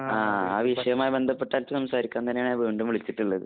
ആഹ്. ആ വിഷയവുമായി ബന്ധപ്പെട്ടിട്ട് സംസാരിക്കാൻ തന്നെയാണ് ഞാൻ വീണ്ടും വിളിച്ചിട്ടുള്ളത്.